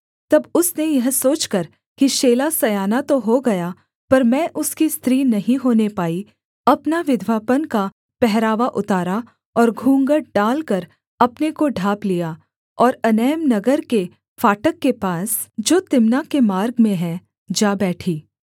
तब उसने यह सोचकर कि शेला सयाना तो हो गया पर मैं उसकी स्त्री नहीं होने पाई अपना विधवापन का पहरावा उतारा और घूँघट डालकर अपने को ढाँप लिया और एनैम नगर के फाटक के पास जो तिम्नाह के मार्ग में है जा बैठी